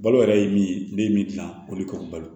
Balo yɛrɛ ye min ye ne ye min dilan o de kɔrɔbalo